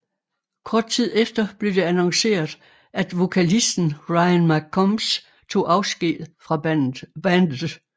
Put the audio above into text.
Kort tid efter blev det annonceret at vokalisten Ryan McCombs tog afsked fra bandet